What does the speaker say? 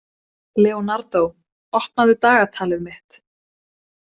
Leonardó, opnaðu dagatalið mitt.